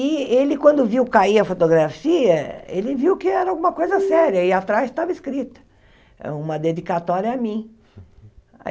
E ele, quando viu cair a fotografia, ele viu que era alguma coisa séria, e atrás estava escrito, uma dedicatória a mim.